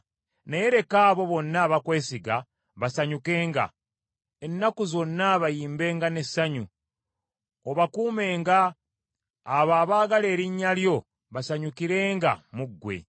Naye leka abo bonna abakwesiga basanyukenga; ennaku zonna bayimbenga n’essanyu, obakuumenga, abo abaagala erinnya lyo basanyukirenga mu ggwe.